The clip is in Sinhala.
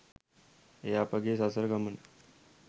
එය අපගේ සසර ගමන